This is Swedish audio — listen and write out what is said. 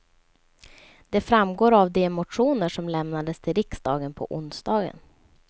Det framgår av de motioner som lämnades till riksdagen på onsdagen.